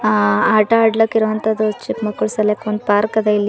ಆ ಆಟ ಆಟ್ಲಕ್ ಇರುವಂತದ್ದು ಚಿಕ್ಕ ಮಕ್ಕಳ ಸಲುವಾಗಿ ಒಂದು ಪಾರ್ಕ್ ಅದ ಇಲ್ಲಿ--